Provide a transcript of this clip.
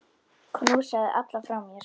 Knúsaðu alla frá mér.